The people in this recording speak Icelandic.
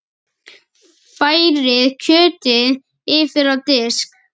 Færið kjötið yfir á disk.